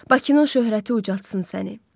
Bakının şöhrəti ucaltsın səni.